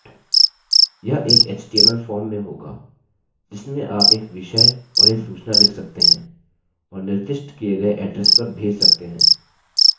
यह एक html form में होगा जिसमें आप एक विषय और एक सूचना लिख सकते हैं और निर्दिष्ट किए एड्रेस पर भेज सकते हैं